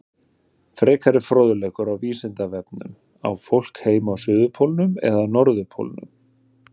Frekari fróðleikur á Vísindavefnum Á fólk heima á suðurpólnum eða norðurpólnum?